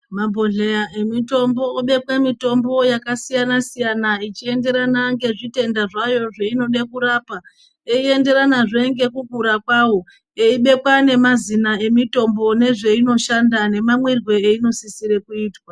Mabhodhleya emitombo obekwe mitombo yakasiyana-siyana ichienderana ngezvitenda zvayo zveinode kurapa, yeienderanazve ngekukura kwawo. Yeibekwa nemazina emitombo nezvainoshanda nemamwirwe einosisirwe kuitwa.